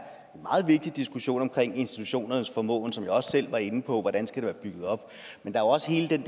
en meget vigtig diskussion omkring institutionernes formåen som jeg også selv var inde på hvordan skal de være bygget op men der er også hele den